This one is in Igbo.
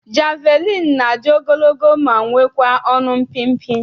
Jeviliini na-adị ogologo ma nwekwaa ọnụ mpịmpị.